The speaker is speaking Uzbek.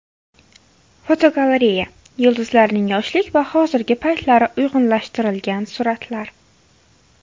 Fotogalereya: Yulduzlarning yoshlik va hozirgi paytlari uyg‘unlashtirilgan suratlar.